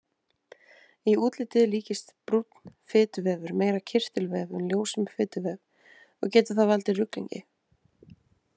Í útliti líkist brúnn fituvefur meira kirtilvef en ljósum fituvef og getur það valdið ruglingi.